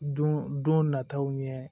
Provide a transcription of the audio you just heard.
Don don nataw ɲɛ